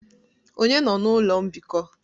Onye nọ na ụlọ mbikọ?